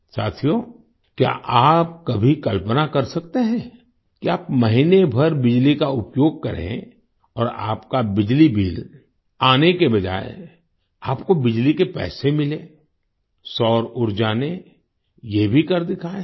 साथियो क्या आप कभी कल्पना कर सकते हैं कि आप महीने भर बिजली का उपयोग करें और आपका बिजली बिल आने के बजाय आपको बिजली के पैसे मिलें सौर ऊर्जा ने ये भी कर दिखाया है